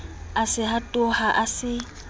a se hatoha a se